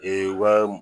Ee wa